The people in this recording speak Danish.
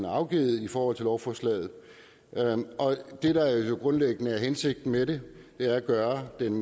afgivet i forhold til lovforslaget det der jo grundlæggende er hensigten med det er at gøre den